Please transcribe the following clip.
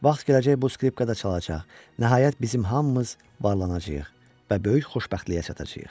Vaxt gələcək bu skripkada çalacaq, nəhayət bizim hamımız varlanacağıq və böyük xoşbəxtliyə çatacağıq.